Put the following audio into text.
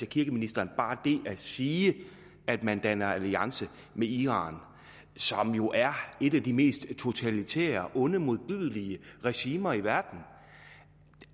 kirkeministeren siger at man danner alliance med iran som jo er et af de mest totalitære onde og modbydelige regimer i verden